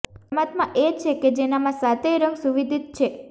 પરમાત્મા એ છે કે જેનામાં સાતેય રંગ સુવિદિત છે